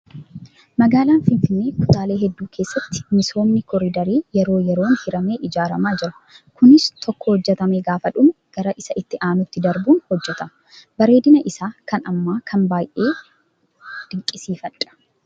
Magaalaa Finfinnee kutaalee hedduu keessatti misoomni koriidarii yeroo yeroon hiramee ijaaramaa Jira. Kunis tokko hojjatamee gaafa dhume gara Isa itti aanuutti darbuun hojjatama. Bareedina isaa kan ammaa kana baay'een dinqisiifadhaa